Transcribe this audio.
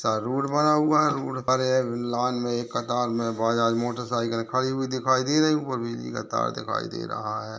में मोटरसाइकिल खड़ी हुई दिखाई दे रही हैं। ऊपर बिजली का तार दिखाई दे रहा है।